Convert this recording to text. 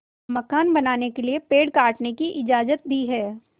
मकान बनाने के लिए पेड़ काटने की इजाज़त दी है